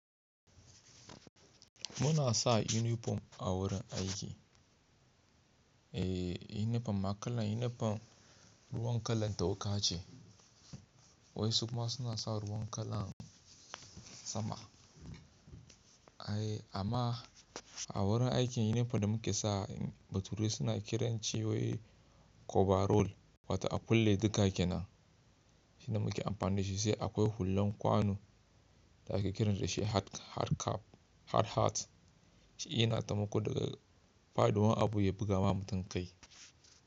Muna sa yunifom a wurin aiki. Eh yunifom ma kalan yunifom ruwan kalan toka ce, wai su kuma suna sa ruwan kalan sama. Ai amma a wurin aikin yunifom da muke sa bature suna kiran shi wai koba roll wata a kulle duka kenan. Shi da muke amfani da shi sai akwai hullan kwano da ake kiran dashi hard hat. Shi yana taimako daga faduwan abu ya buga ma mutum kai.